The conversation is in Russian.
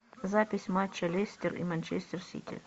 запись матча лестер и манчестер сити